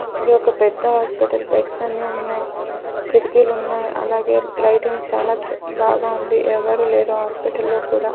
ఇది ఒక పెద్ద హాస్పిటల్ బెడ్స్ అన్ని ఉన్నాయ్ కిటికీలున్నాయ్ అలాగే లైటింగ్ చాలా బాగా ఉంది ఎవరు లేరు హాస్పిటల్ లో కూడా.